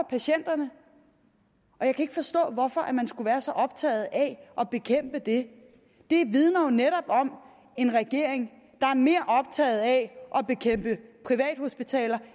patienterne og jeg kan ikke forstå hvorfor man skulle være så optaget af at bekæmpe det det vidner jo netop om en regering der er mere optaget af at bekæmpe privathospitaler